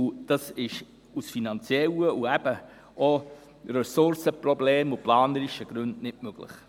Dies ist aus finanziellen und planerischen Gründen sowie aufgrund von Ressourcenproblemen nicht anders möglich.